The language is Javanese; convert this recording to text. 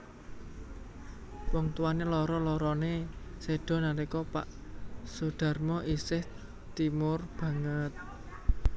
Wong tuwané loro loroné séda nalika pak Soedharmono isih timur banget